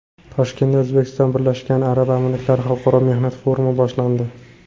Toshkentda O‘zbekiston Birlashgan Arab Amirliklari Xalqaro mehnat forumi boshlandi.